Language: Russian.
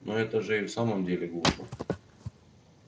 но это же и в самом деле глупо